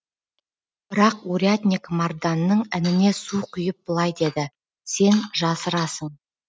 бірақ урядник марданның ініне су құйып былай деді сен жасырасын